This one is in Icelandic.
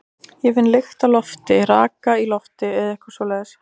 Ég finn lykt af lofti, raka í lofti eða eitthvað svoleiðis.